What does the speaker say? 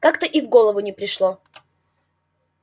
как-то и в голову не пришло